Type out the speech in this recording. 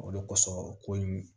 O de kosɔn ko in